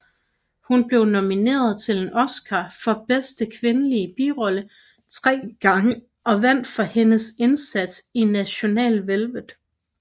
Hun blev nomineret til en Oscar for bedste kvindelige birolle tre gange og vandt for hendes indsats i National Velvet